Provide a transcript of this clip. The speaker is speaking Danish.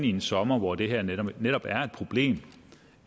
en sommer hvor det her netop netop er et problem